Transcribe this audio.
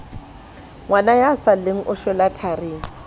sa lleng o shwela tharing